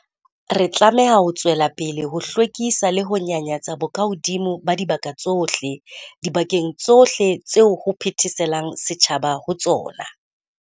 Re tlameha ho tswela pele ho hlwekisa le ho nyanyatsa bokahodimo ba dibaka tsohle, dibakeng tsohle tseo ho phetheselang setjhaba ho tsona.